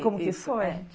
Ah, como que foi?